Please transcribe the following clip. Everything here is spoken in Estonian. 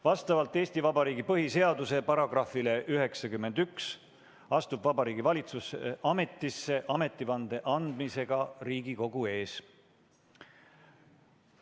Vastavalt Eesti Vabariigi põhiseaduse §-le 91 astub Vabariigi Valitsus ametisse ametivande andmisega Riigikogu ees.